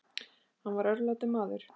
Hann var örlátur maður.